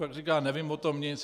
Pak říká: Nevím o tom nic.